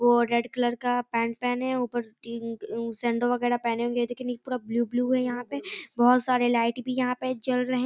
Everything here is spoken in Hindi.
वो रेड कलर का पेंट पहने हैं ऊपर टी अम सेंडो वगेरा पहने होगे और नीचे यहाँ ब्लू ब्लू है यहाँ पे बहुत सारे लाइट भी यहाँ पे जल रहे --